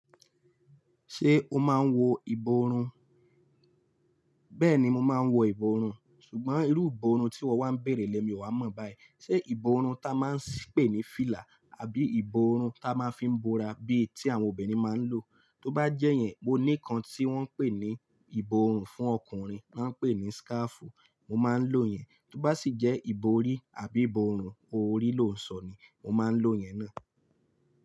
Ṣé o máa ń wọ ìborùn? Bẹ́ẹ̀ni mò ń wọ ìborùn ṣùgbọ́n irú ìborùn tí wọ́n wá ń bèrè lè mi ò wá mọ̀ báyìí. Ṣé ìborùn ta máa ń pé ní fílà àbí ìborùn ta máa ń fi ń bora bí i tí àwọn obìnrin máa ń lò? Tó bá jẹ́ yẹn, mo ní kan tí wọ́n ń pè ní ìborùn fún ọkùnrin, máa ń pè ní síkáfù, mò máa ń lò yẹn. Tó bá sì jẹ́ ìborí àbí ìbòòrún orí ló ń sọ ni, mò máa ń lò yẹn náà.